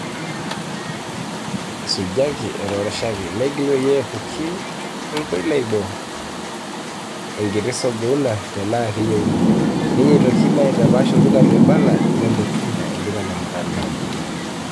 Isujaki, etoshoraki, negili peyie epuki inkonai boo, enkiti songouna tenaa kiyeuni; ninye entoki naitapaash olduka loibala (le Mutumba) olduka le mutandao.